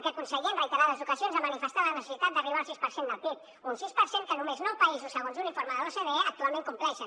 aquest conseller en reiterades ocasions ha manifestat la necessitat d’arribar al sis per cent del pib un sis per cent que només nou països segons un informe de l’ocde actualment compleixen